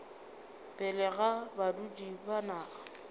pele ga badudi ba naga